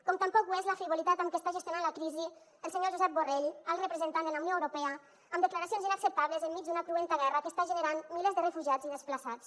com tampoc ho és la frivolitat amb què està gestionant la crisi el senyor josep borrell alt representant de la unió europea amb declaracions inacceptables enmig d’una cruenta guerra que està generant milers de refugiats i desplaçats